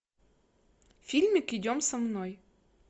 фильмик идем со мной